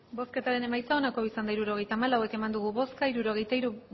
hirurogeita hamalau eman dugu bozka hirurogeita hiru